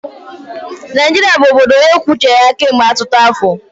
Naijiria bụ obodo onye kwuo uche ya kemgbe ọtụtụ afọ.